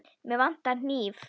Mig vantar hníf.